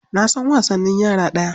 Na san wasanin yara daya.